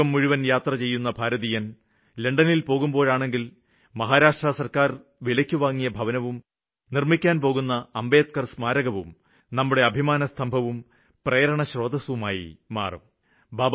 ലോകം മുഴുവന് യാത്ര ചെയ്യുന്ന ഭാരതീയന് ലണ്ടനില് പോകുകയാണെങ്കില് മഹാരാഷ്ട്ര സര്ക്കാര് വിലയ്ക്കുവാങ്ങിയ ഭവനവും നിര്മ്മിക്കാന് പോകുന്ന അംബേദ്ക്കര് സ്മാരകവും നമ്മുടെ അഭിമാനസ്തംഭവും പ്രേരണസ്രോതസ്സായി മാറുന്നതുകാണാനാകും